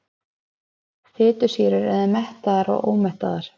Fitusýrur eru mettaðar og ómettaðar.